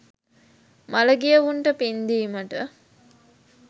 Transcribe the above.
මළගියවුන්ට පින් දීමට